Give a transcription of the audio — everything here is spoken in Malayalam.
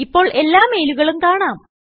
ഇപ്പോൾ എല്ലാ മെയിലുകളും കാണാം